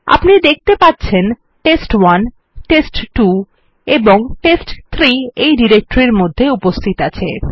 আপনি দেখতে পাচ্ছেন টেস্ট1 টেস্ট2 এবং টেস্ট3 এই ডিরেক্টরির মধ্যে উপস্থিত আছে